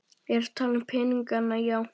Ég er að tala um peningana, já.